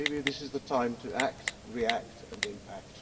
Maybe this is the time to act, react and impact.